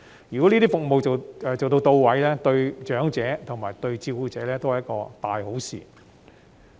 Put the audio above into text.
如果這些服務到位，對長者及照顧者都是一件大好事。